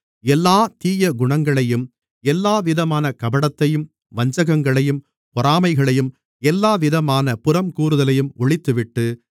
எல்லாத் தீயகுணங்களையும் எல்லாவிதமான கபடத்தையும் வஞ்சகங்களையும் பொறாமைகளையும் எல்லாவிதமான புறம்கூறுதலையும் ஒழித்துவிட்டு